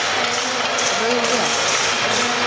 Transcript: Rauð vera